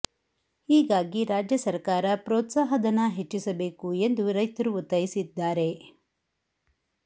ಹೀಗಾಗಿ ರಾಜ್ಯ ಸರಕಾರ ಪ್ರೋತ್ಸಾಹ ಧನ ಹೆಚ್ಚಿಸಬೇಕು ಎಂದು ರೈತರು ಒತ್ತಾಯಿಸಿದ್ದಾರೆ